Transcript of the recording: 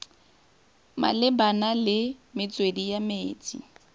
malebana le metswedi ya metsi